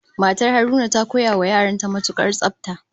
Matar Haruna ta koya wa yaran ta matukar tsafta